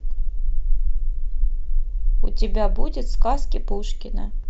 у тебя будет сказки пушкина